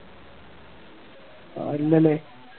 ആഹ് ഇല്ലല്ലേ